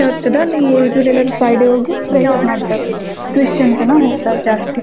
ವೆಚ್ಚದಲ್ಲಿ ಫ್ರೈಡೆ ಹೋಗಿ ಪ್ರೇಯರ್ ಮಾಡ್ತಾರಾ ಕ್ರಿಸ್ಟಿಯಾನ್ಸ್ ಎಲ್ಲ ಹೋಗ್ತರ್ ಜಾಸ್ತಿ.